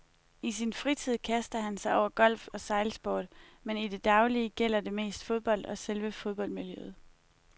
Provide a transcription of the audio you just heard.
I sin fritid kaster han sig over golf og sejlsport, men i det daglige gælder det mest fodbold og selve fodboldmiljøet.